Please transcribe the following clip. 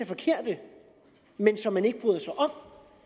forkerte men som man ikke bryder sig om